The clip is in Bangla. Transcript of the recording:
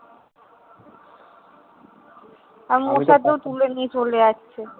তুলে নিয়ে চলে আসছে।